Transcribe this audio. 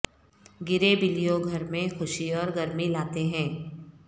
گرے بلیوں گھر میں خوشی اور گرمی لاتے ہیں